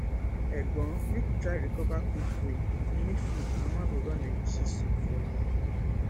egbon make you try recover quickquick if you need food my mama go run egusi soup for you